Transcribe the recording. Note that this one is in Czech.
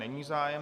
Není zájem.